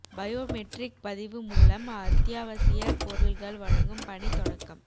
bio matric பதிவு மூலம் அத்தியாவசியப் பொருள்கள் வழங்கும் பணி தொடக்கம்